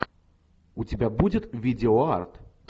у тебя будет видео арт